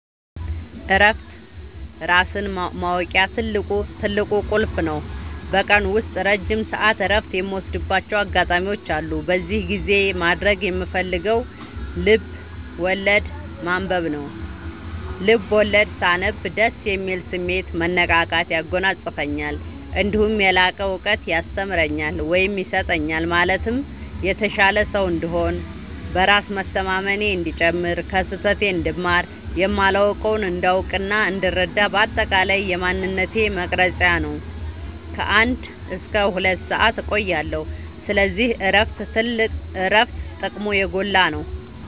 እረፍት ራስን ማወቂያ ትልቁ ቁልፍ ነው። በቀን ውስጥ ረጅም ሰዓት እረፍት የምወስድባቸው አጋጣዎች አሉ። በዚህ ጊዜ ማድረግ የምፈልገው ልብዐወለድ ማንበብ ነው፤ ልቦለድ ሳነብ ደስ የሚል ስሜት፣ መነቃቃት ያጎናፅፈኛል። እነዲሁም የላቀ እውቀት ያስተምረኛል ወይም ይሰጠኛል ማለትም የተሻለ ሰው እንድሆን፣ በራስ መተማመኔ እንዲጨምር፣ ከስህተቴ እንድማር፣ የማላውቀውን እንዳውቅናእንድረዳ በአጠቃላይ የማንነቴ መቅረጽያ ነው። ከ አንድ እስከ ሁለት ሰአት እቆያለሁ። ስለዚህ እረፍት ጥቅሙ የጎላ ነው።